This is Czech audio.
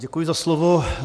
Děkuji za slovo.